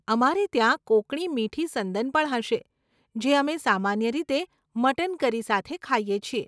અમારે ત્યાં કોંકણી મીઠી સંદન પણ હશે, જે અમે સામાન્ય રીતે મટન કરી સાથે ખાઈએ છીએ.